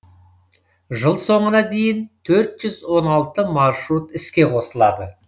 жыл соңына дейін төрт жүз он алты маршрут іске қосылады